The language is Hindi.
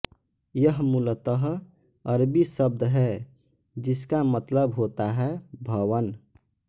यह मूलतः अरबी शब्द है जिसका मतलब होता है भवन